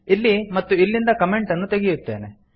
ಇಲ್ಲಿ ಮತ್ತು ಇಲ್ಲಿಂದ ಕಮೆಂಟ್ ಅನ್ನು ತೆಗೆಯುತ್ತೇನೆ